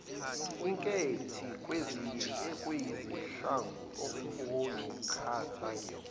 inkethi kweziyisihlanu oyikhethayo